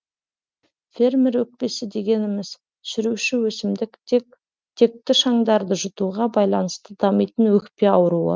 фермер өкпесі дегеніміз шіруші өсімдік текті шаңдарды жұтуға байланысты дамитын өкпе ауруы